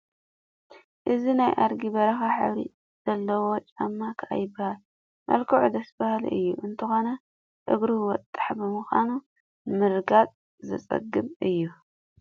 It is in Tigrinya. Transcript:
እዚ ናይ ኣዲጊ በረኻ ሕብሪ ጨለዎ ጫማ ኮዮ ይበሃል፡፡ መልክዑ ደስ በሃሊ እዩ፡፡ እንተኾነ እግሩ ወጣሕ ብምዃኑ ንምርጋፁ ዘፅግም እዩ፡፡